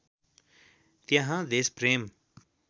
त्यहाँ देशप्रेम